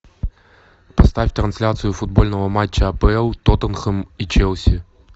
поставь трансляцию футбольного матча апл тоттенхэм и челси